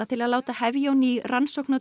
til að láta hefja á ný rannsókn á